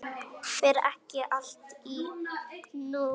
Fer ekki allt í hnút?